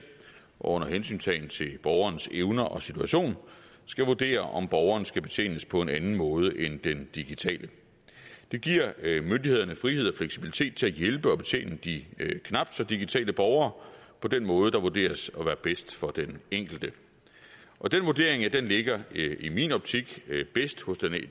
og under hensyntagen til borgerens evner og situation skal vurdere om borgeren skal betjenes på en anden måde end den digitale det giver myndighederne frihed og fleksibilitet til at hjælpe og betjene de knap så digitale borgere på den måde der vurderes at være bedst for den enkelte og den vurdering ligger i min optik bedst hos